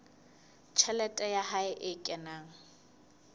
tjhelete ya hae e kenang